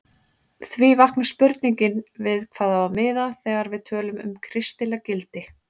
Því vaknar spurningin við hvað á að miða þegar við tölum um kristileg gildi?